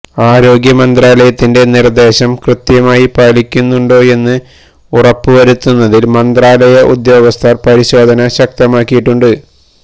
ആരോഗ്യ മന്ത്രാലയത്തിന്റെ നിർദേശം കൃത്യമായി പാലിക്കുന്നുണ്ടോയെന്ന് ഉറപ്പു വരുത്തുന്നതിന് മന്ത്രാലയ ഉദ്യോഗസ്ഥർ പരിശോധന ശക്തമാക്കിയിട്ടുണ്ട്